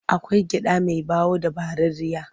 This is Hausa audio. Akwai gyaɗa mai ɓawo da ɓararriya.